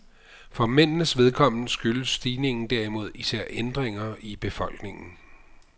For mændenes vedkommende skyldes stigningen derimod især ændringer i befolkningen.